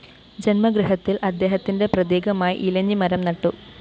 ജന്മഗൃഹത്തില്‍ അദ്ദേഹത്തിന്റെ പ്രതീകമായി ഇലഞ്ഞി മരം നട്ടു